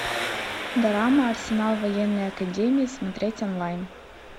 драма арсенал военной академии смотреть онлайн